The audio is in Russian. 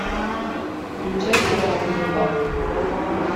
включай сериал ганнибал